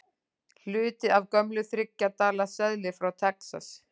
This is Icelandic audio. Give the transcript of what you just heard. Hluti af gömlum þriggja dala seðli frá Texas.